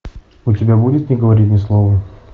у тебя будет не говори ни слова